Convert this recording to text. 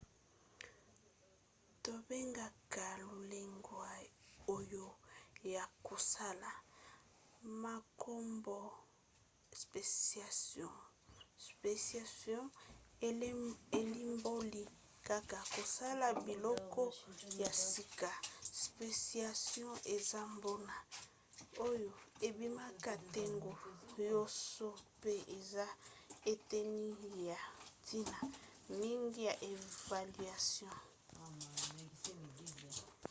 tobengaka lolenge oyo ya kosala makambo spéciation; elimboli kaka kosala biloko ya sika. spéciation eza mbano oyo ebimaka ntango nyonso mpe eza eteni ya ntina mingi ya évolution